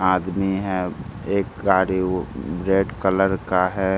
आदमी है एक गाड़ी वो रेड कलर का है।